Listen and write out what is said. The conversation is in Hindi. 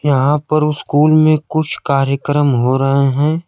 यहां पर उस्कूल में कुछ कार्यक्रम हो रहे हैं।